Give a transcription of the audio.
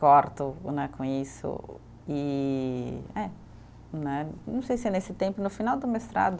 Corto né, com isso e é, né, não sei se é nesse tempo, no final do mestrado,